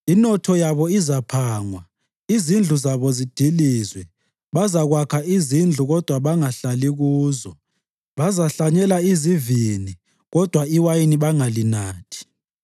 Inotho yabo izaphangwa, izindlu zabo zidilizwe. Bazakwakha izindlu kodwa bangahlali kuzo; bazahlanyela izivini, kodwa iwayini bangalinathi.”